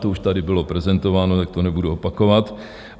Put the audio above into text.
To už tady bylo prezentováno, tak to nebudu opakovat.